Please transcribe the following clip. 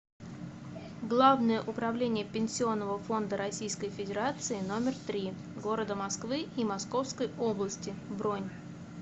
главное управление пенсионного фонда рф номер три г москвы и московской области бронь